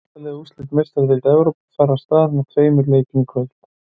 Átta liða úrslit Meistaradeildar Evrópu fara af stað með tveimur leikjum í kvöld.